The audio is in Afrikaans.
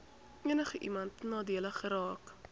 enigiemand nadelig geraak